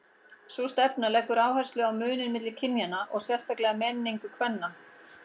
Sú stefna leggur áherslu á muninn milli kynjanna og sérstaka menningu kvenna.